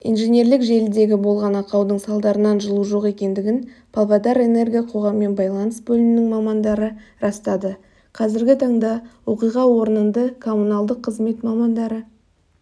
инженерлік желідегі болған ақаудың салдарынан жылу жоқ екендігін павлодарэнерго қоғаммен байланыс бөлімінің мамандары растады қазіргі таңда оқиға орнынды коммуналдық қызмет мамандары